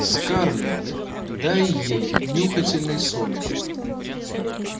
скарлетт дай ей нюхательные соли